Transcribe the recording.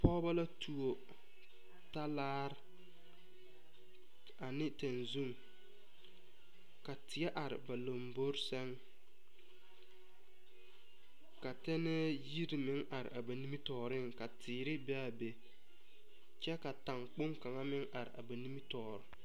Pɔgebɔ la tuo talaari ane tɛgzun ka teɛ are ba lambori sɛŋ ka tɛnɛɛ yiri meŋ are ba nimitɔɔriŋ ka teere be a be kyɛ a taŋkpoŋ kaŋ meŋ are a ba nimitɔɔriŋ.